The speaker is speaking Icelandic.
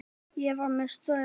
Ég var með störu.